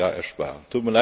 Euro im Jahr ersparen.